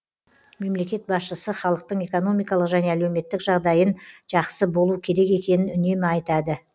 мемлекет басшысы халықтың экономикалық және әлеуметтік жағдайын жақсы болу керек екенін үнемі айтады